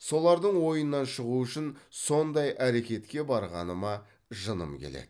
солардың ойынан шығу үшін сондай әрекетке барғаныма жыным келеді